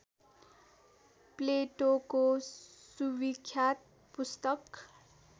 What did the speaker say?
प्लेटोको सुविख्यात पुस्तक